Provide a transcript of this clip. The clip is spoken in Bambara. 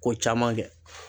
Ko caman kɛ